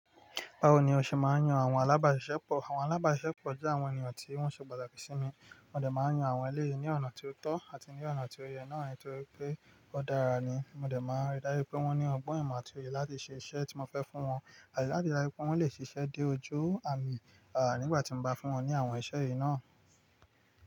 Bawo ni o ṣe máa ń yan àwọn alábàáṣiṣẹ́pọ̀? Àwọn alábàáṣiṣẹ́pọ̀ jẹ́ àwọn ènìyàn tí wọ́n ṣe pàtàkì sí mi. Mo dẹ̀ máa ń yan àwọn eléyìí ní ọ̀nà tó tọ́ àti ní ọ̀nà tó yẹ náà nítorí pé ó dára ni. Mo dẹ̀ máa ń rí dáru pé wọ́n ní ọgbọ́n ìmọ̀ àti oye láti ṣe iṣẹ́ tí mo fẹ́ fún wọn àti láti ríi dájú pé wọ́n lè ṣiṣẹ́ dé ojú àmì, ah nígbà tí mo bá fún wọn ní àwọn iṣẹ́ yìí náà.